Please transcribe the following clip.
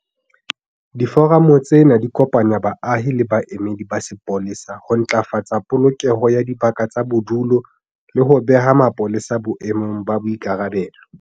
Diforamo tsena di kopanya baahi le baemedi ba sepolesa ho ntlafatsa polokeho ya dibaka tsa bodulo le ho beha mapolesa boemong ba boikarabelo.